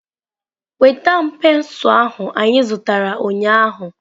Nweta m pensụl ahụ anyị zụtara ụnyaahụ!